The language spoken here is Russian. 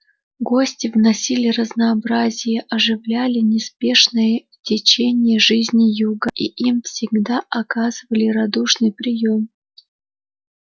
гости вносили разнообразие оживляли неспешное течение жизни юга и им всегда оказывали радушный приём